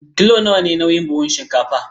Kilo nawa ne nauyin buhun shinkafar?